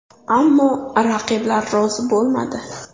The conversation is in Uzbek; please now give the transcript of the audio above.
Ammo raqiblar rozi bo‘lmadi.